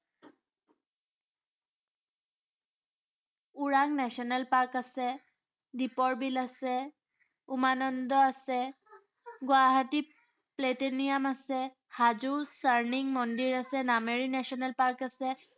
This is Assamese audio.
ওৰাং national park আছে, দ্বীপৰ বিল আছে, উমানন্দ আছে, গুৱাহাটী প্লেটেনিয়াম আছে, হাজো মন্দিৰ আছে, নামাৰী national park আছে।